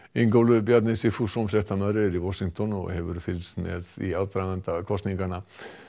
Ingólfur Bjarni Sigfússon fréttamaður er í Washington og hefur fylgst með í aðdraganda kosninganna